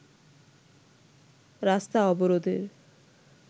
রাস্তা অবরোধের